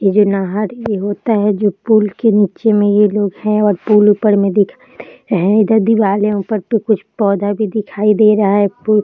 ये जो नहर ये होता है जो पुल के निचे मे ये लोग हैं और पुल ऊपर में दिखाई दे रहा है इधर दीवाले है ऊपर पे कुछ पौधा भी दिखाई दे रहा है एक ठो --